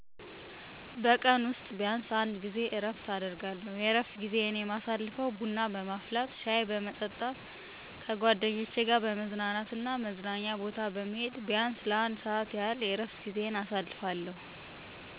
በቀን ውስጥ ቢያንሰ አንድ ጊዜ እረፍት አደርጋለሁ። የእረፍት ጊዜዪ የማሳልፈው ቡና በማስፈላት፣ ሻይ በመጠጣት፣ ከጓደኞቼ ጋር በመዝናናት እና መዝናኛ ቦታ በመሄድ ቢያንስ ለአንድ ሰዓት ያህል የእረፍት ጊዜየን አሳልፋለሁ።